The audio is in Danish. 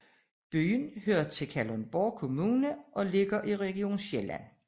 Byen hører til Kalundborg Kommune og ligger i Region Sjælland